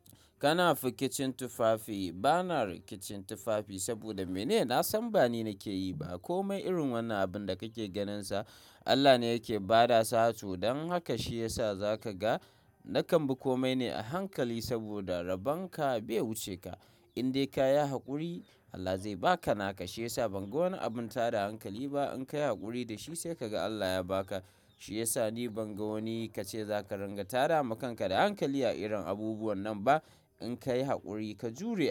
Kana fi ƙicin tufafi, bana rikicin tufafi saboda mene? Na san ba ni ne ke yi ba. Komai irin wannan abun da kake ganinsa Allah ne yake ba da sa to don haka shi yasa za ka ga na kambi komai ne a hankali saboda rabonka bai wuce ka. In dai ka yi haƙuri Allah zai ba ka naka. Shi yasa ban ga wani abun tada hankali ba. In ka yi haƙuri da shi sai ka ga Allah ya ba ka. Shi yasa ni ban ga wani ka ce za ka ranga tada makanka da hankali a irin abubuwan nan ba. In ka yi haƙuri, ka jure.